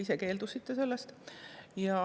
Te keeldusite sellest.